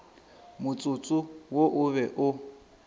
motsotso wo o be o